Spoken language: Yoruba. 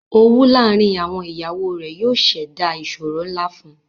Owù laárìn àwọn iyàwọ rè yóò ṣèdá ìṣòrò nlá fún ù